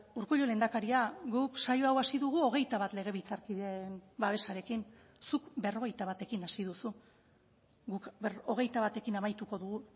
urkullu lehendakaria guk saio hau hasi dugu hogeita bat legebiltzarkideen babesarekin zuk berrogeita batekin hasi duzu guk hogeita batekin amaituko dugu